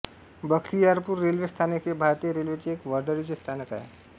Bakhtiyarpur railway स्थानक हे भारतीय रेल्वेचे एक वर्दळीचे स्थानक आहे